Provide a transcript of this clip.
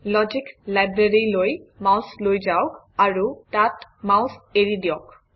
logic library লৈ mouse লৈ যাওক আৰু তাত মাউচ এৰি দিয়ক